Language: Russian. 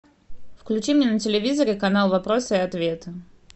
включи мне на телевизоре канал вопросы и ответы